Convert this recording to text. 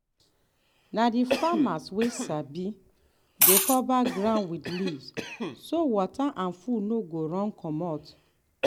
na the farmers wey sabi dey cover ground with leaves so water and food no go run commot.